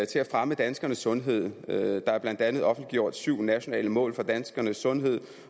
til at fremme danskernes sundhed der er blandt andet offentliggjort syv nationale mål for danskernes sundhed